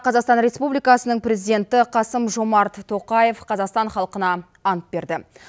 қазақстан республикасының президенті қасым жомарт тоқаев қазақстан халқына ант берді